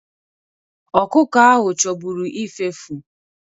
Ọkụkọ ahụ chọburu ifefu.